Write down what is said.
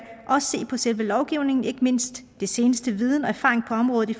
se på selve lovgivningen ikke mindst den seneste viden og erfaring på området i